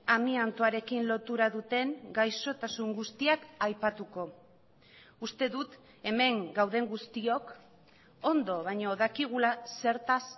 amiantoarekin lotura duten gaixotasun guztiak aipatuko uste dut hemen gauden guztiok ondo baino dakigula zertaz